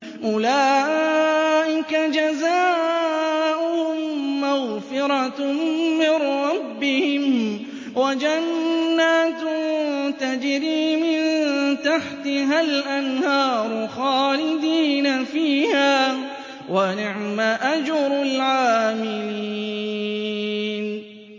أُولَٰئِكَ جَزَاؤُهُم مَّغْفِرَةٌ مِّن رَّبِّهِمْ وَجَنَّاتٌ تَجْرِي مِن تَحْتِهَا الْأَنْهَارُ خَالِدِينَ فِيهَا ۚ وَنِعْمَ أَجْرُ الْعَامِلِينَ